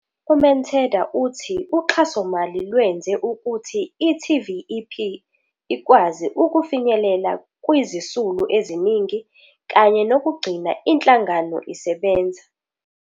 U-Manthada uthi uxhasomali lwenze ukuthi i-TVEP ikwazi ukufinyelela kwizisulu eziningi kanye nokugcina inhlangano isebenza.